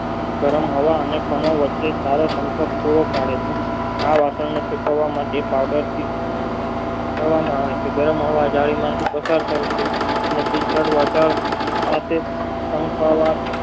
ગરમ હવા અને તણાવ વચ્ચે સારા સંકટ પૂરો પડે છે આ રાસાયને સુકવા માટે હવામાં આવે છે ગરમ હવે જાળી માંથી પસાર કરે છે ને